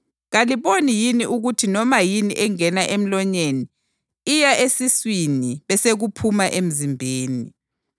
Kaliboni yini ukuthi noma yini engena emlonyeni iya esiswini besekuphuma emzimbeni?